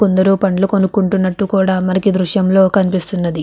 కొందరు పండ్లు కొనుక్కున్నట్టు కూడా మనకి దృశ్యంలో కనిపిస్తున్నది.